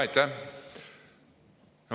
Aitäh!